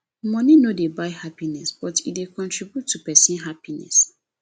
money no dey buy happiness but e dey contribute to person happiness